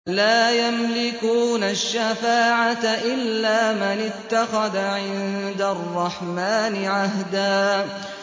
لَّا يَمْلِكُونَ الشَّفَاعَةَ إِلَّا مَنِ اتَّخَذَ عِندَ الرَّحْمَٰنِ عَهْدًا